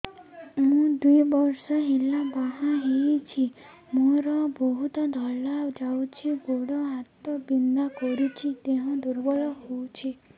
ମୁ ଦୁଇ ବର୍ଷ ହେଲା ବାହା ହେଇଛି ମୋର ବହୁତ ଧଳା ଯାଉଛି ଗୋଡ଼ ହାତ ବିନ୍ଧା କରୁଛି ଦେହ ଦୁର୍ବଳ ହଉଛି